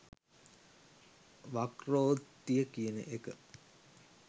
වක්‍රෝත්තිය කියන එක